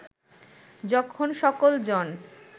যখন সকল জন